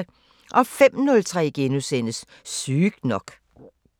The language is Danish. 05:03: Sygt nok *